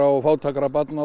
og fátækra barna